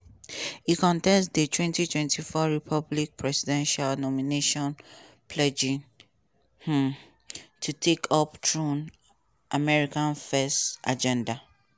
e contest di 2024 republican presidential nomination pledging um to take up trump "america first" agenda.